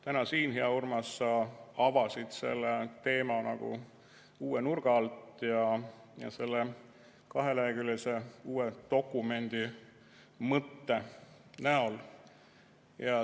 Täna siin, hea Urmas, sa avasid selle teema nagu uue nurga alt ja selle kaheleheküljelise uue dokumendi mõtte alusel.